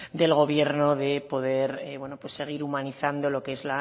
del gobierno de poder seguir humanizando lo que es